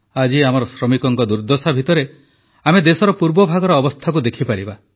ଆଜି ଆମର ଶ୍ରମିକଙ୍କ ଦୁର୍ଦ୍ଦଶା ଭିତରେ ଆମେ ଦେଶର ପୂର୍ବଭାଗର ଅବସ୍ଥାକୁ ଦେଖିପାରିବା